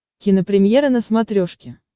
кинопремьера на смотрешке